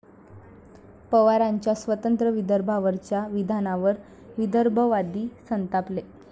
पवारांच्या स्वतंत्र विदर्भावरच्या विधानावर विदर्भवादी संतापले